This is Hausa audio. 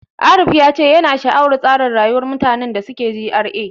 Arif ya ce yana sha'awar tsarin rayuwar mutanen da suke GRA.